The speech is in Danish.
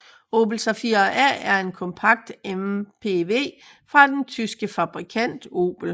Opel Zafira A er en kompakt MPV fra den tyske bilfabrikant Opel